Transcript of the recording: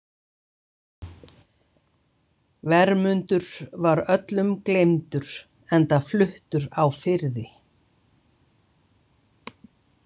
Vermundur var öllum gleymdur enda fluttur á firði.